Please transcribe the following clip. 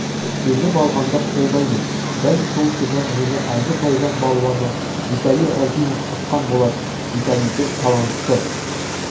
жеңіп алғанды қолдаймын дәл сол күні мені әзербайжан балуаны виталий рагимов ұтқан болатын виталийді талантты